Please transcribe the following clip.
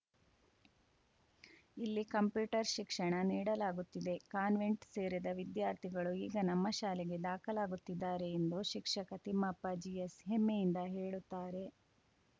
ಇಲ್ಲಿ ಕಂಪ್ಯೂಟರ್‌ ಶಿಕ್ಷಣ ನೀಡಲಾಗುತ್ತಿದೆ ಕಾನ್ವೆಂಟ್‌ ಸೇರಿದ ವಿದ್ಯಾರ್ಥಿಗಳು ಈಗ ನಮ್ಮ ಶಾಲೆಗೆ ದಾಖಲಾಗುತ್ತಿದ್ದಾರೆ ಎಂದು ಶಿಕ್ಷಕ ತಿಮ್ಮಪ್ಪ ಜಿಎಸ್‌ ಹೆಮ್ಮೆಯಿಂದ ಹೇಳುತ್ತಾರೆ